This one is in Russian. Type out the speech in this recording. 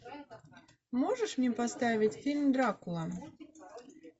можешь мне поставить фильм дракула